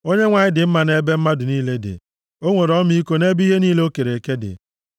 Onyenwe anyị dị mma nʼebe mmadụ niile dị; o nwere ọmịiko nʼebe ihe niile o kere eke dị.